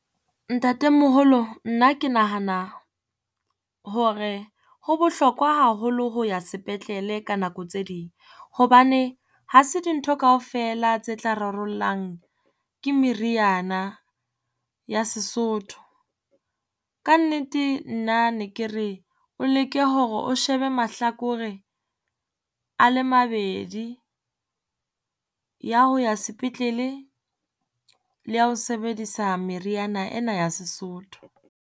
Ntatemoholo, nna ke nahana hore ho bohlokwa haholo ho ya sepetlele ka nako tse ding. Hobane ha se dintho kaofela tse tla rarollang ke meriana ya Sesotho. Kannete nna ne ke re o leke hore o shebe mahlakore a le mabedi ya ho ya sepetlele le ya ho sebedisa meriana ena ya Sesotho.